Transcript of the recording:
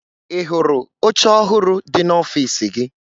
Ị hụrụ oche ọhụrụ dị n'ọfiisi gị?